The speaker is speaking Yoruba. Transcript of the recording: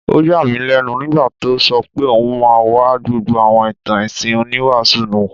Ó yà mí lẹ́nu nígbà tó sọ pé òun máa wá gbọ́ àwọn ìtàn ẹ̀sìn oníwàásù náà